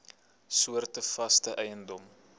soorte vaste eiendom